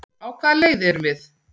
Á hvaða leið erum við?